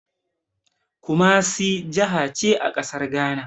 Kumasi jahace a ƙasar Ghana